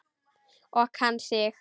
Og kann sig.